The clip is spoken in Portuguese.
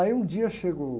Aí um dia chegou...